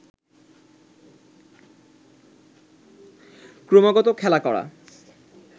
ক্রমাগত খেলা করা